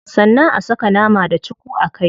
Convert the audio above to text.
Sannan a saka nama da cuku a kai.